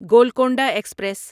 Golconda express